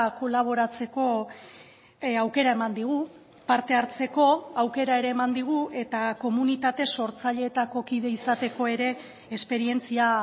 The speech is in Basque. kolaboratzeko aukera eman digu parte hartzeko aukera ere eman digu eta komunitate sortzaileetako kide izateko ere esperientzia